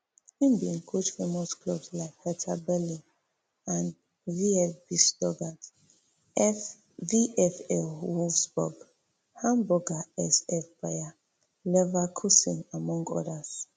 im bin coach famous clubs like hertha berlin and vfb stuttgart vfl wolfsburg hamburger sv bayer leverkusen among odas